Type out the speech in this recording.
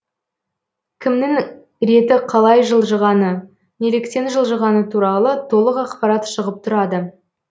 кімнің реті қалай жылжығаны неліктен жылжығаны туралы толық ақпарат шығып тұрады